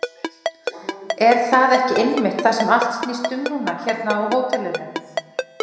Er það ekki einmitt það sem allt snýst um núna hérna á hótelinu?